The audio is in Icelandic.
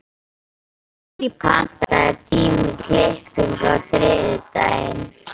Sirrí, pantaðu tíma í klippingu á þriðjudaginn.